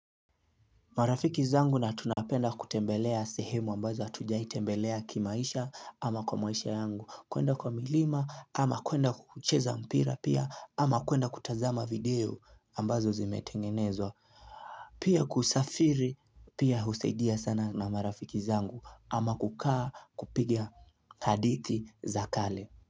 Marafiki zangu na tunapenda kutembelea sehemu ambazo hatujai tembelea kimaisha ama kwa maisha yangu kuenda kwa milima ama kuenda kucheza mpira pia ama kuenda kutazama video ambazo zimetengenezwa Pia kusafiri pia husaidia sana na marafiki zangu ama kukaa kupiga hadithi za kale.